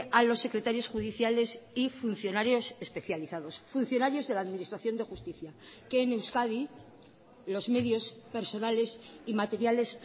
a los secretarios judiciales y funcionarios especializados funcionarios de la administración de justicia que en euskadi los medios personales y materiales